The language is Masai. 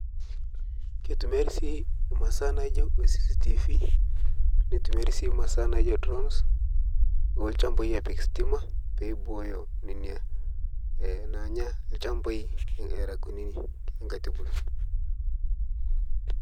keitumiari sii masaa naijo cctv neitumiari sii masaa naijo drowns olchampai apik stima peibooyo nenia nanya lchampai era kunini